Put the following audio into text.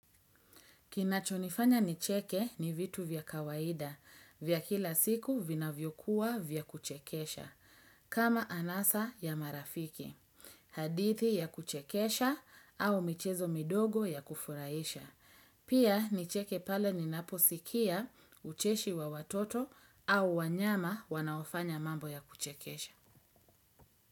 Kinachonifanya nicheke ni vitu vya kawaida, vya kila siku vinavyokuwa vya kuchekesha, kama anasa ya marafiki, hadithi ya kuchekesha au michezo midogo ya kufuraisha. Pia nicheke pale ninaposikia ucheshi wa watoto au wanyama wanaofanya mambo ya kuchekesha.